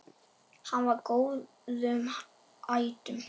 Hann var af góðum ættum.